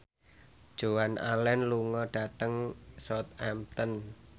Joan Allen lunga dhateng Southampton